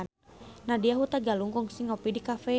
Nadya Hutagalung kungsi ngopi di cafe